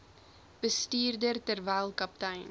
bestuurder terwyl kaptein